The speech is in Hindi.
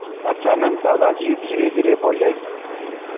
अचानक दादाजी धीरेधीरे बोले